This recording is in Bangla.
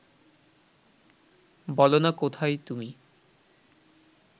বলোনা কোথায় তুমি